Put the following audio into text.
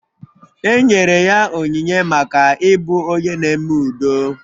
E nyere ya onyinye maka ịbụ onye na-eme udo